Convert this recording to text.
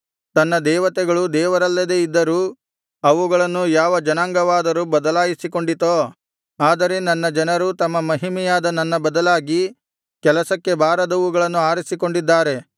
ತನ್ನ ದೇವತೆಗಳು ದೇವರಲ್ಲದೆ ಇದ್ದರೂ ಅವುಗಳನ್ನು ಯಾವ ಜನಾಂಗವಾದರೂ ಬದಲಾಯಿಸಿಕೊಂಡಿತೋ ಆದರೆ ನನ್ನ ಜನರು ತಮ್ಮ ಮಹಿಮೆಯಾದ ನನ್ನ ಬದಲಾಗಿ ಕೆಲಸಕ್ಕೆ ಬಾರದವುಗಳನ್ನು ಆರಿಸಿಕೊಂಡಿದ್ದಾರೆ